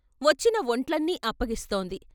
వొచ్చిన వొంట్లన్నీ అప్పగిస్తోంది.